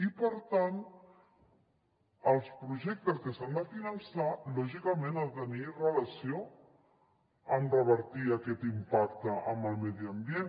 i per tant els projectes que s’han de finançar lògicament han de tenir relació amb revertir aquest impacte en el medi ambient